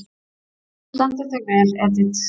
Þú stendur þig vel, Edit!